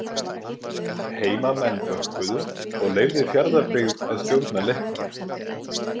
Heimamenn bökkuðu og leyfði Fjarðarbyggð að stjórna leiknum.